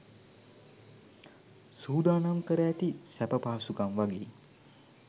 සූදානම් කර ඇති සැප පහසුකම් වගෙයි.